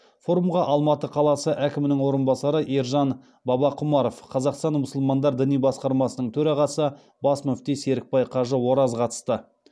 форумға алматы қаласы әкімінің орынбасары ержан бабақұмаров қазақстан мұсылмандары діни басқармасының төрағасы бас мүфти серікбай қажы ораз қатысты